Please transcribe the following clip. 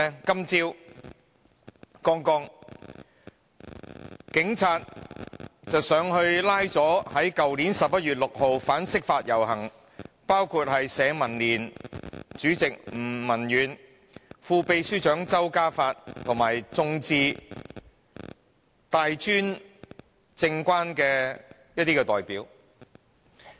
今天早上，警察拘捕了一批去年11月6日參加反釋法遊行的人士，包括社民連主席吳文遠、副秘書長周嘉發及香港眾志、大專政改關注組的一些代表。